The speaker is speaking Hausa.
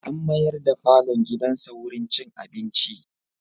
An mayar da falon gidansa wurin cin abinci.